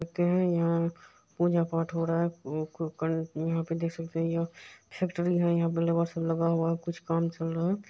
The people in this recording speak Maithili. सकते हैं यहाँ पूजा पाठ हो रहा है। उ यहाँ पे देख सकते हैं यह फैक्ट्री है। यहाँ पे लेबर सब लगा हुआ है कुछ काम चल रहा है।